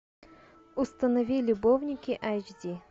установи любовники эйч ди